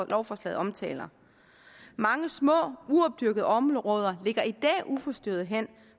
lovforslaget omtaler mange små uopdyrkede områder ligger i dag uforstyrret hen